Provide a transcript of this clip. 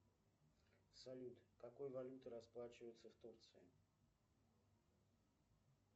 салют какой валютой расплачиваются в турции